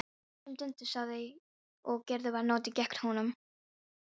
Allt sem Dundi sagði og gerði var notað gegn honum.